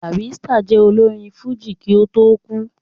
Barrister jẹ́ olórin fújì kí ó tó kú